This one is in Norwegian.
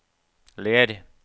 Ler